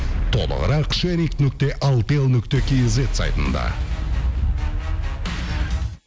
толығырақ шерик нүкте алтел нүкте кейзет сайтында